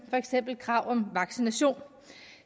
for eksempel krav om vaccination